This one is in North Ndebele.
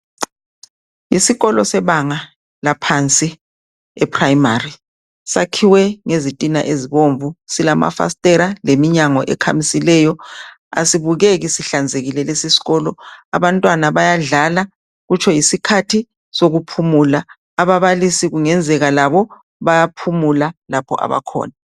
Isikolo sebanga laphansi ephurayimari sakhiwe ngezitina ezibomvu silamafasitela leminyango ekhamisileyo asibukeki sihlanzekile lesi sikolo abantwana bayadlala kutsho yisikhathi sokuphumula ababalisi kungenzeka labo bayaphumula lapho abakhona